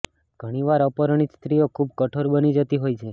ઘણી વાર અપરિણીત સ્ત્રીઓ ખૂબ કઠોર બની જતી હોય છે